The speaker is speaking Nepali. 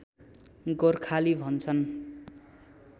गोर्खाली भन्छन्